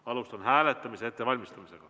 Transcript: Alustame hääletamise ettevalmistamist.